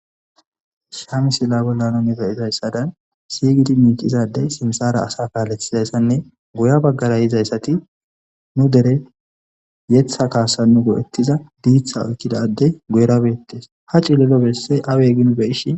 Shamisilla bollanu neba izayssadan siygidi miicizadey simsara asa kaalethizayssanne guya baggara yizayssati nu dere yeththa kaasa nu go'ettiza diiththa oykkidadey guyrabeettes ha cilelo bessey awe ginu beishi.